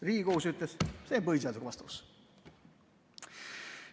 Riigikohus ütles: see on põhiseadusega vastuolus.